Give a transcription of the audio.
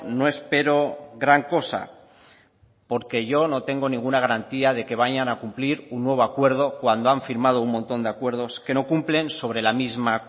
no espero gran cosa porque yo no tengo ninguna garantía de que vayan a cumplir un nuevo acuerdo cuando han firmado un montón de acuerdos que no cumplen sobre la misma